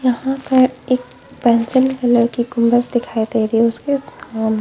यहाँ पर एक पेंसिल कलर की कुंबस दिखाई दे रही हैं उसके उसकाम--